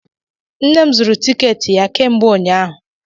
Nne m zụrụ tikeeti ya kemgbe ụnyaahụ.